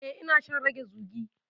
Eh, ina shan rage zugi.